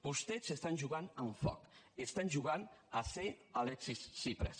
vostès estan jugant amb foc estan jugant a ser alexis tsipras